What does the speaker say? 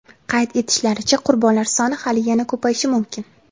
Qayd etishlaricha, qurbonlar soni hali yana ko‘payishi mumkin.